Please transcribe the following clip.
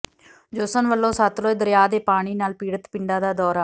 ਜੋਸਨ ਵੱਲੋਂ ਸਤਲੁਜ ਦਰਿਆ ਦੇ ਪਾਣੀ ਨਾਲ ਪੀਡ਼ਤ ਪਿੰਡਾਂ ਦਾ ਦੌਰਾ